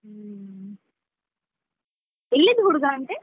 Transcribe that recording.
ಹುಮ್ಮ್, ಎಲ್ಲಿಯದ್ದು ಹುಡುಗ ಅಂತೇ?